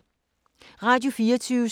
Radio24syv